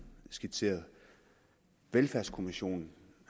skitseret velfærdskommissionen